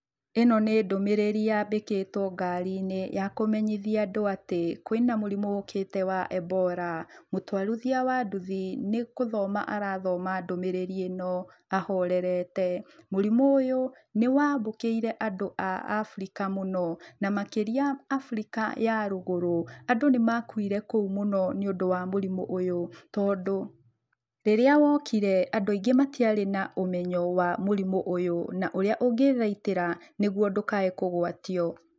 Ĩno nĩ ndũmĩrĩri yambĩkĩtwo ngari-inĩ ya kũmenyithia andũ atĩ kwĩna mũrimũ ũkĩte wa Ebola. Mũtwarithia wa nduthi nĩ gũthoma arathoma ndũmĩrĩri ĩno ahorerete. Mũrimũ ũyũ, nĩ wambũkĩire andũ a Africa mũno, na makĩria Africa ya rũgũrũ. Andũ nĩ makuire kũu mũno nĩũndũ wa mũrimũ ũyũ tondũ, rĩrĩa wokire, andũ aingĩ matiarĩ na ũmenyo wa mũrimũ ũyũ na ũrĩa ũngĩthaitĩra nĩguo ndũkae kũgwatio.